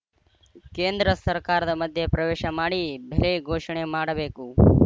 ಕೇಂದ್ರ ಸರ್ಕಾರದ ಮಧ್ಯೆ ಪ್ರವೇಶ ಮಾಡಿ ಬೆಲೆ ಘೋಷಣೆ ಮಾಡಬೇಕು